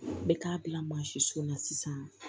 N bɛ taa bila mansin so la sisan